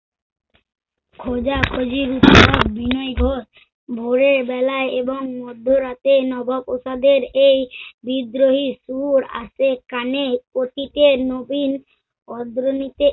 খোজা-খোজির উৎসব বিনয় ঘোষ ভোরে বেলায় এবং মধ্যরাতে নবাব প্রাসাদের এই বিদ্রোহীর সুর আসে কানে। অতীতের নবীন অগ্রণীতে